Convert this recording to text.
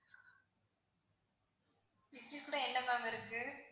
இட்லி கூட இன்னும் என்ன ma'am இருக்கு?